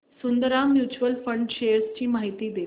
Sundaram mutual fund shares ची माहिती दे